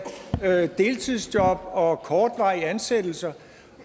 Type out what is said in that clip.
tage deltidsjob og kortvarige ansættelser